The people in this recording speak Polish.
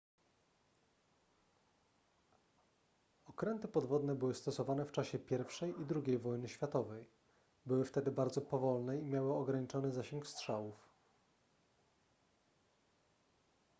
okręty podwodne były stosowane w czasie i i ii wojny światowej były wtedy bardzo powolne i miały ograniczony zasięg strzałów